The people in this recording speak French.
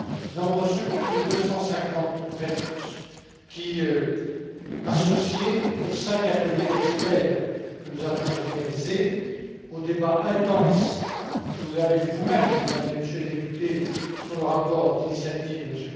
Nous avons reçu plus de 250 réponses qui, associées aux cinq ateliers d'experts, que nous avions organisés, aux débats intenses que vous avez eus vous mêmes, Mesdames et Messieurs les députés, sur le rapport d'initiative de M.